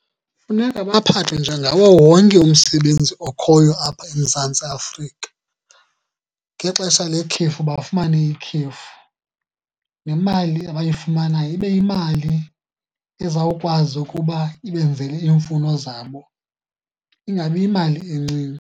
Funeka baphathe njengawo wonke umsebenzi okhoyo apha eMzantsi Afrika. Ngexesha lekhefu bafumane ikhefu, nemali abayifumanayo ibe yimali ezawukwazi ukuba ibenzele iimfuno zabo, ingabi yimali encinci.